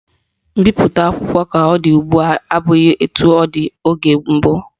Mbipụta akwụkwọ ka ọ dị ugbua abụghị etu ọ dị oge mbụ